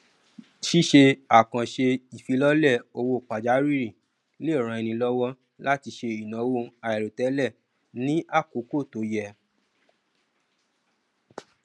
ṣíṣe àkànṣe ìfilọlẹ owó pajawìrì le ràn ẹni lọwọ láti ṣe ináwó àìròtẹlẹ ní àkókò tó yẹ